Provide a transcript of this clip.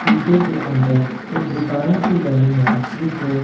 शीशे के अंदर एक दुकान सी बनी है जिसमें--